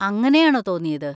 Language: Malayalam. അങ്ങനെയാണോ തോന്നിയത്?